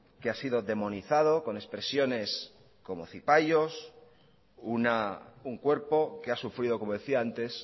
que ha sido demonizado con expresiones como cipayos un cuerpo que ha sufrido como decía antes